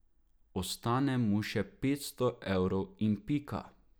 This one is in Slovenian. Ostane mu še petsto evrov in pika.